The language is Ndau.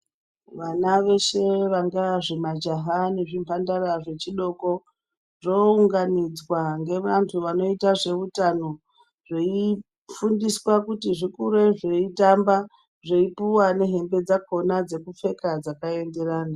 Vana veshe vangava majaha nezvimhandara zvechidoko zvounganidzwa ngevantu vanoita zveutano zveifundiswa kuti zvikure zveitamba zveipuwa nehembe dzakona dzinoenderana.